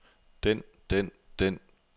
den den den